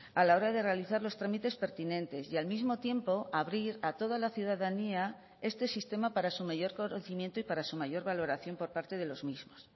a la hora de realizar los trámites pertinentes y al mismo tiempo abrir a toda la ciudadanía este sistema para su mayor conocimiento y para su mayor valoración por parte de los mismos